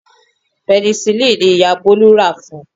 Penicillin ni Ìyá Bọ́lá rà fún